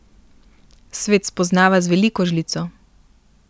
Svet spoznava z veliko žlico.